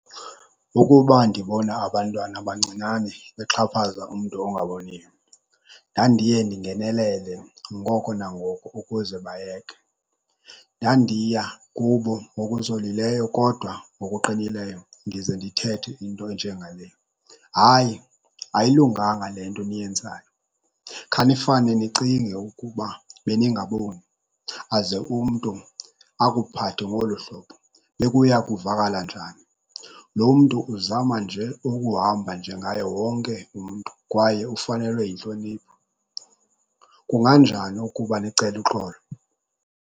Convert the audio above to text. Ukuba ndibona abantwana abancinane bexhaphaza umntu ongaboniyo, ndandiye ndingenelelele ngoko nangoko ukuze bayeke. Ndandiya kubo ngokuzolileyo kodwa ngokuqinileyo ndize ndithethe into enje ngale, hayi ayilunganga le nto eniyenzayo. Khanifane nicinge ukuba beningaboni aze umntu akuphathe ngolu hlobo, bekuya kuvakala njani? Lo mntu uzama nje ukuhamba njengaye wonke umntu kwaye ufanelwe yintlonipho. Kunganjani ukuba nicele uxolo?